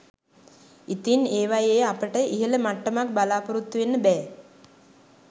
ඉතිං ඒවයේ අපට ඉහළ මට්ටමක් බලාපොරොත්තු වෙන්න බෑ